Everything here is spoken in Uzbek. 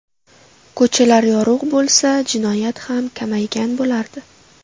Ko‘chalar yorug‘ bo‘lsa, jinoyat ham kamaygan bo‘lardi.